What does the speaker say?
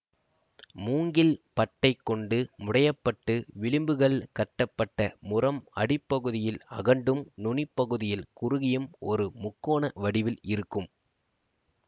மூங்கில் பட்டைகொண்டு முடையப்பட்டு விளிம்புகள் கட்டப்பட்ட முறம் அடிப்பகுதியில் அகண்டும் நுனிப்பகுதியில் குறுகியும் ஒரு முக்கோண வடிவில் இருக்கும்